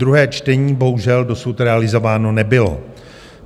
Druhé čtení bohužel dosud realizováno nebylo.